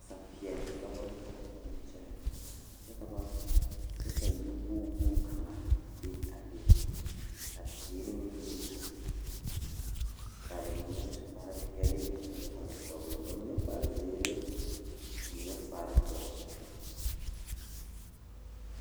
Noba naŋ waa yaga Nenpeɛle ane nensɔglaa ba su la gyase kparre ka a taa nanbare bamine su la kpare peɛle ka bamine su kpare ziiri ka paa ba ziɛ ka o e oroge.